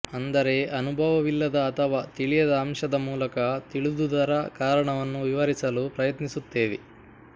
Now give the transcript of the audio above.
ಅಂದರೆ ಅನುಭವವಿಲ್ಲದ ಅಥವಾ ತಿಳಿಯದ ಅಂಶದ ಮೂಲಕ ತಿಳಿದುದರ ಕಾರಣವನ್ನು ವಿವರಿಸಲು ಪ್ರಯತ್ನಿಸುತ್ತೇವೆ